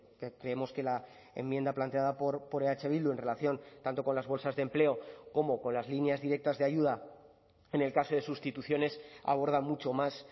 que creemos que la enmienda planteada por eh bildu en relación tanto con las bolsas de empleo como con las líneas directas de ayuda en el caso de sustituciones aborda mucho más